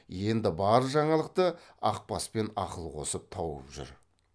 енді бар жаңалықты ақбаспен ақыл қосып тауып жүр